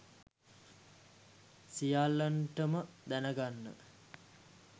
සියල්ලන්ටම දැනගන්න